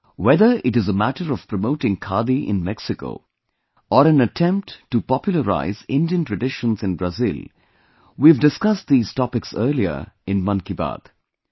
Whether it is a matter of promoting Khadi in Mexico or an attempt to popularize Indian traditions in Brazil, we have discussed these topics earlier in 'Mann Ki Baat'